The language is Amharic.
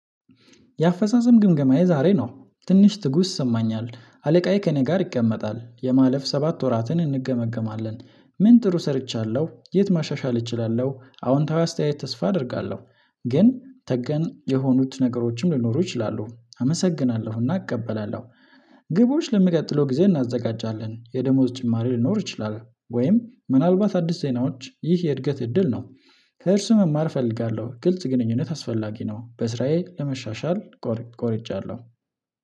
የአፈጻጸም ግምገማዬ ዛሬ ነው ትንሽ ትጉስ ይሰማኛል አለቃዬ ከእኔ ጋር ይቀመጣል የማለፍ ሰባት ወራትን እንገመግማለን። ምን ጥሩ ሰርቻለሁ የት ማሻሻል እችላለሁ አዎንታዊ አስተያየት ተስፋ አደርጋለሁ። ግን ተገን የሆኑት ነገሮችም ሊኖሩ ይችላሉ አመሰግናለሁ እና እቀበላለሁ። ግቦች ለምቀጥለው ጊዜ እናዘጋጃለን የደሞዝ ጭማሪ ልኖር እችላለሁ ወይም ምናልባት አዲስ ዜናዎች ይህ የእድገት እድል ነው። ከእርሱ መማር እፈልጋለሁ ግልጽ ግንኙነት አስፈላጊ ነው በስራዬ ለመሻሻል። ቆርጫለሁ